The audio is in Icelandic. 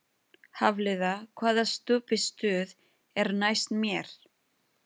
Hafliða, hvaða stoppistöð er næst mér?